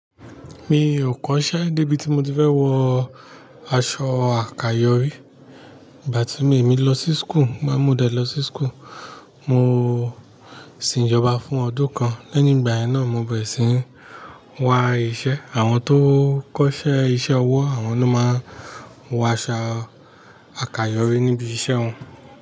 Mi ò kọ́ṣẹ́ débi tí mo ti fẹ́ wọ aṣọ àkayòrí. Ìgbà tí mi, èmi lọ sí school, máa mú dẹ lọ sí school, mo sì ń ìjọba fún ọdún kan. Lẹ́yìn ìgbà yẹn náà, mo bẹ̀rẹ̀ sí ní wa iṣẹ́. Àwọn tó kọ́ṣẹ́ iṣẹ́ ọwọ́, àwọn ló máa ń wọ aṣọ àkayòrí níbi iṣẹ́ wọn.